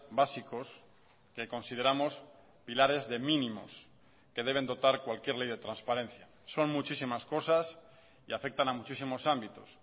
básicos que consideramos pilares de mínimos que deben dotar cualquier ley de transparencia son muchísimas cosas y afectan a muchísimos ámbitos